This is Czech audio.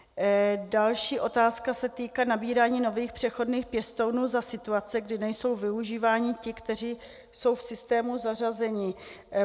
Další otázka se týká nabírání nových přechodných pěstounů za situace, kdy nejsou využíváni ti, kteří jsou v systému zařazeni.